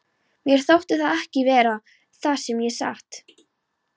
Mér þótti það ekki verra, það segi ég satt.